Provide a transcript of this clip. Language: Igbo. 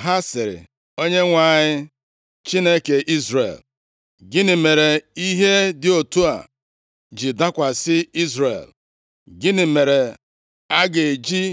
“Ha sịrị, Onyenwe anyị, Chineke Izrel, gịnị mere ihe dị otu a ji dakwasị Izrel? Gịnị mere a ga-eji